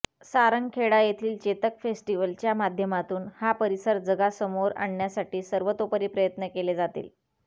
सारंगखेडा येथील चेतक फेस्टिव्हलच्या माध्यमातून हा परिसर जगासमोर आणण्यासाठी सर्वतोपरी प्रयत्न केले जातील